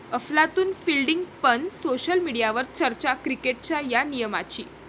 अफलातून फिल्डिंग पण सोशल मीडियवर चर्चा क्रिकेटच्या 'या' नियमाची